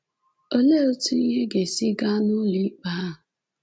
Olee etu ihe ga-esi gaa n’ụlọ ikpe ahụ?